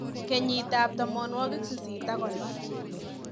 Kenyit tab 1850,